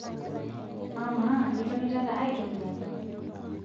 amaa itonitata aitobiraki?